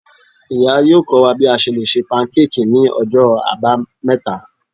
iya yọọ kọ wa bi a ṣe le ṣe pankéèkí ni Ọjọ abámeta.